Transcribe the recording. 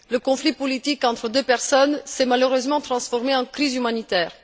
Le conflit politique entre deux personnes s'est malheureusement transformé en crise humanitaire.